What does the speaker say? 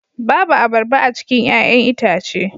Babu abarba a cikin 'ya'yan itace